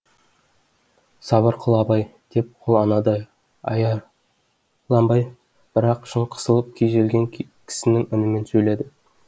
сабыр қыл абай деп ол анадай аярланбай бірақ шын қысылып күйзелген кісінің үнімен сөйледі